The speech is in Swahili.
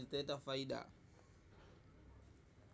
zitaleta faida.